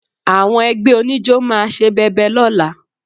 Àwọn ẹgbẹ́ oníjó máa ṣe bẹbẹ lọ́la